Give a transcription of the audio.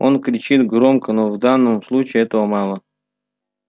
он кричит громко но в данном случае этого мало